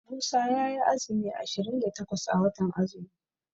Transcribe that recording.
Musa yayi azumi ashirin da takwas a watan azumi.